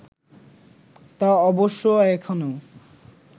তা অবশ্য এখনও